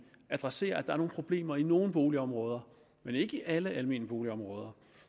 adresserer at er nogle problemer i nogle almene boligområder men ikke i alle almene boligområder